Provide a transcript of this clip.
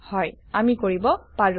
হয় আমি কৰিব পাৰো160